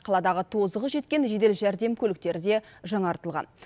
қаладағы тозығы жеткен жедел жәрдем көліктері де жаңартылған